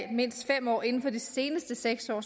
mindst fem år inden for de seneste seks år